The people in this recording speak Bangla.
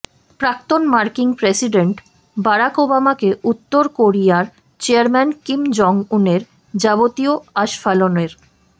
প্রাক্তন মার্কিন প্রেসিডেন্ট বারাক ওবামাকে উত্তর কোরিয়ার চেয়ারম্যান কিম জং উনের যাবতীয় আস্ফালনের